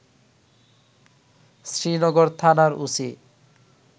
শ্রীনগর থানার ওসি